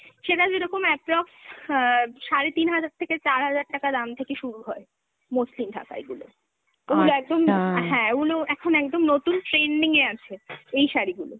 সেটা যেরকম approx অ্যাঁ সারে তিন হাজার থেকে চার হাজার টাকা দাম থেকে শুরু হয় মসলিন ঢাকাইগুলো। ওগুলো একদম, হ্যাঁ, ওগুলো এখন একদম নতুন trending এ আছে এই শাড়িগুলো।